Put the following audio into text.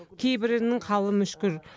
кейбірінің халі мүшкіл